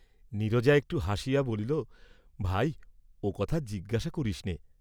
নীরজা একটু হাসিয়া বলিল ভাই, ও কথা জিজ্ঞাসা করিসনে।